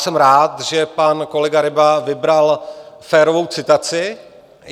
Jsem rád, že pan kolega Ryba vybral férovou citaci.